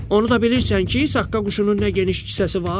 Onu da bilirsən ki, Saqqa quşunun nə geniş kisəsi var?